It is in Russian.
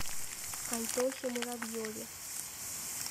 антохе муравьеве